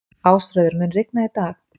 Ásröður, mun rigna í dag?